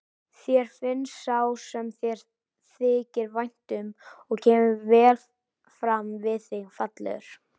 Þér finnst sá sem þér þykir vænt um og kemur vel fram við þig fallegur.